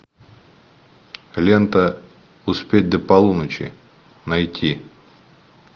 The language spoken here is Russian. лента успеть до полуночи найти